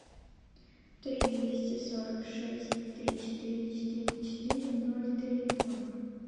три двести сорок шесть три четыре четыре четыре ноль три два